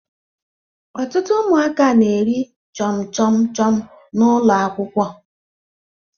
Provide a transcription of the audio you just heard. Ọtụtụ ụmụaka na-eri chọmchọm chọm n'ụlọ akwụkwọ